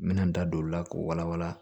N bɛna n da don o la k'o wala wala